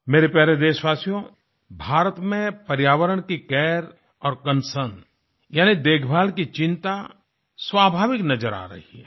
मेरे प्यारे देशवासियो भारत में पर्यावरण की केयर और कॉन्सर्न यानि देखभाल की चिंता स्वाभाविक नजर आ रही है